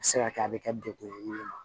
A bɛ se ka kɛ a bɛ kɛ dekun ye